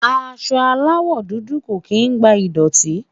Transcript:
aṣọ alawọ dudu kò kín gba idọti